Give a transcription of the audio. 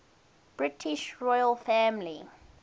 british royal family